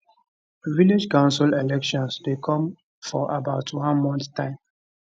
village council elections dey come for about one month time